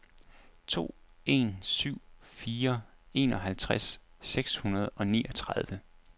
to en syv fire enoghalvtreds seks hundrede og niogtredive